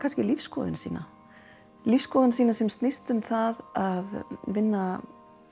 lífskoðun sína lífskoðun sína sem snýst um það að vinna